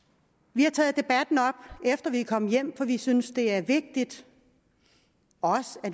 vi har taget debatten op efter vi er kommet hjem for vi synes det er vigtigt